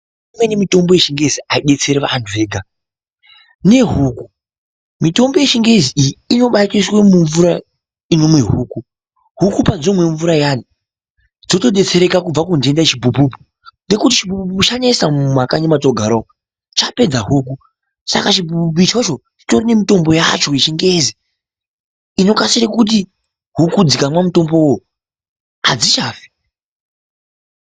Imweni mitombo yechingezi aidetseri vantu vega, nehuku. Mitombo yechingezi iyi inobatoiswe mumvura inomwe huku, huku padzinomwe mvura iyani dzotodetsereka kubva kuntenda yechibhubhubhu nekuti chibhubhubhu chanesa mumakanyi mwatinogara umo chapedza huku saka chibhubhubhu ichocho chitori nemutombo yacho yechingezi inokasire kuti huku dzikamwa mutombowo adzichafi.